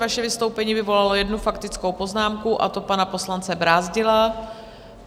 Vaše vystoupení vyvolalo jednu faktickou poznámku, a to pana poslance Brázdila.